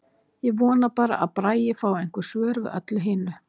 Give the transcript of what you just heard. Ég vona bara að Bragi fái einhver svör við öllu hinu.